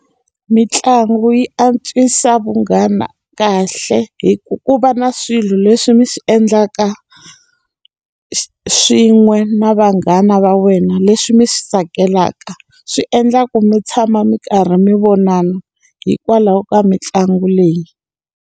Mintlangu yi antswisa vunghana kahle hikuva ku va na swilo leswi mi swi endlaka, swin'we na vanghana va wena leswi mi swi tsakelaka. Swi endlaku mi tshama mi karhi mi vonana hikwalaho ka mitlangu leyi.